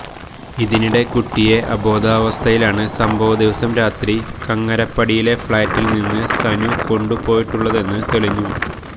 ഇതിനിടെ കുട്ടിയെ അബോധാവസ്ഥയിലാണ് സംഭവ ദിവസം രാത്രി കങ്ങരപ്പടിയിലെ ഫ്ളാറ്റിൽനിന്ന് സനു കൊണ്ടു പോയിട്ടുള്ളതെന്ന് തെളിഞ്ഞു